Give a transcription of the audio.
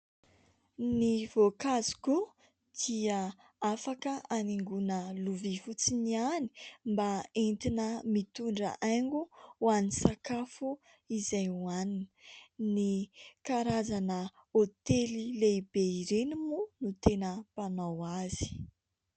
Ny voankazo koa dia afaka hanaingoana lovia fotsiny ihany mba hoentina mitondra haingo ho an'ny sakafo izay hohanina. Ny karazana hotely lehibe ireny moa no tena mpanao azy.